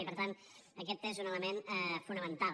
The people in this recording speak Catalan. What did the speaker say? i per tant aquest és un element fonamental